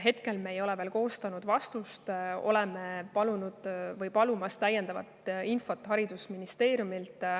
Hetkel me ei ole veel koostanud vastust, oleme palunud või palumas täiendavat infot haridusministeeriumilt.